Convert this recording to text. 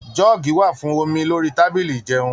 Jọọ́gí wà fún omi lórí tábìlì ijẹun.